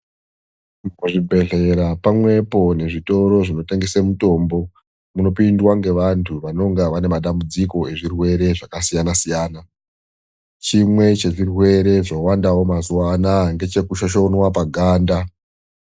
Zvibhedhlera pamwepo nezvitoro zvinotengesa mutombo munopindwa ngevantu vanonga vane matambudziko akasiyana siyana. Chimwe chezvirwere zvawandawo mazuvano aya ngechekushoshonwa paganda.